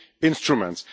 instruments'.